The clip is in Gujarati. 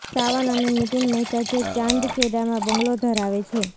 સાવન અને નીતિન મહેતા જે ચાંદખેડામાં બંગલો ધરાવે છે